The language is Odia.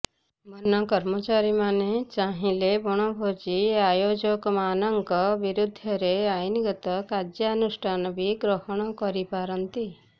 ବନ କର୍ମଚାରୀମାନେ ଚାହିଁଲେ ବଣଭୋଜି ଆୟୋଜକମାନଙ୍କ ବିରୋଧରେ ଆଇନଗତ କାର୍ଯ୍ୟାନୁଷ୍ଠାନ ବି ଗ୍ରହଣ କରିପାରନ୍ତି